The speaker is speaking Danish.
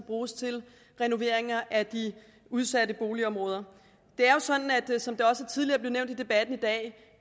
bruges til renoveringer af de udsatte boligområder det er jo sådan som det også tidligere i debatten i dag